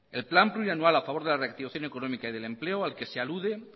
el plan plurianual a favor de la reactivación económica y del empleo al que se alude